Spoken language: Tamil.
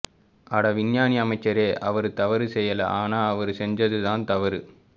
அட விஞ்ஞானி அமைச்சரே அவரு தவறு செய்யல ஆனா அவரு செஞ்சது தான் தவறு